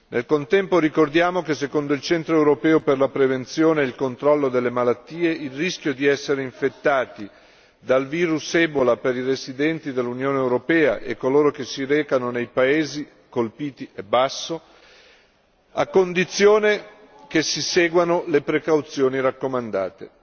Nel contempo, ricordiamo che, secondo il Centro europeo per la prevenzione e il controllo delle malattie, il rischio di essere infettati dal virus ebola per i residenti dell'Unione europea e coloro che si recano nei paesi colpiti è basso, a condizione che si seguano le precauzioni raccomandate.